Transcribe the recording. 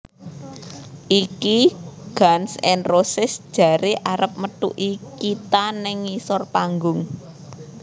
Iki Guns N Roses jare arep methuki kita nang ngisor panggung